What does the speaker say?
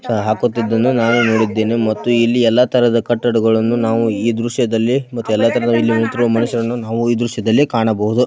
ಹಾಕುತ್ತಿದ್ದನ್ನ ನಾವೇ ನೋಡಿದ್ದೇನೆ ಮತ್ತು ಇಲ್ಲಿ ಎಲ್ಲ ತರಹದ ಕಟ್ಟಡಗಳನ್ನ ಈ ದ್ರಶ್ಯದಲ್ಲಿ ಮತ್ತು ಎಲ್ಲ ದ್ರಶ್ಯದಲ್ಲಿ ಮತ್ತೆಲ್ಲತರಹದ ಇಲ್ಲಿ ನಿಂತಿರುವ ಮನುಷ್ಯರನ್ನು ನಾವು ಈ ದ್ರಶ್ಯದಲ್ಲಿ ಕಾಣಬಹುದು.